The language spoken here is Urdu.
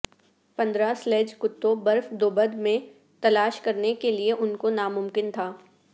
پندرہ سلیج کتوں برف دوبد میں تلاش کرنے کے لئے ان کو ناممکن تھا